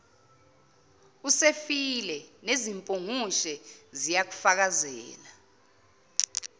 usefile nezimpungushe ziyakufakazela